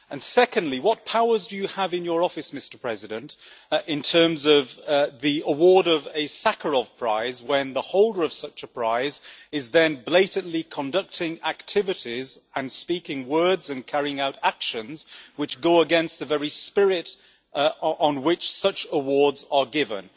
Secondly, what powers do you have in your office, Mr President, in terms of the award of a Sakharov Prize, when the holder of such a prize is then blatantly conducting activities, speaking words and carrying out actions which go against the very spirit on which such awards are given?